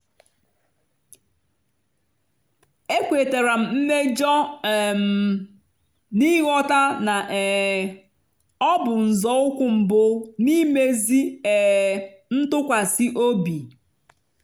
ekwetara m mmejọ um m n'ịghọta na um ọ bụ nzọụkwụ mbụ n'imezi um ntụkwasị obi.